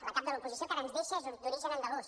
la cap de l’oposició que ara ens deixa és d’origen andalús